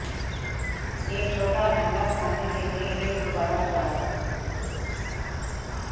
एक छोटा अंडा बनाने के लिए एक गुब्बारा उड़ाओ